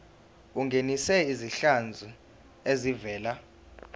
ungenise izinhlanzi ezivela